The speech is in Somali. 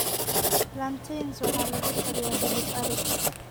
Plantains waxaa lagu kariyaa hilib ari.